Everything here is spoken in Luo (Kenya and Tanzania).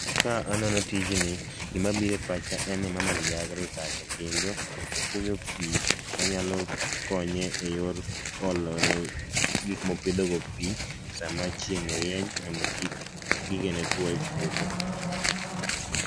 ka anono tijni gimabiro e pacha en ni mama ni ja agriculture kendo okunyo pii manyalo konye e yor olone gikmopidhogo pii saa ma chieng rieny mondo kik gigene tuo e puodho